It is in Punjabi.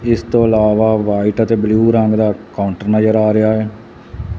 ਇਸ ਤੋਂ ਇਲਾਵਾ ਵਾਈਟ ਅਤੇ ਬਲੂ ਰੰਗ ਦਾ ਕਾਊਂਟਰ ਨਜ਼ਰ ਆ ਰਿਹਾ ਹੈ।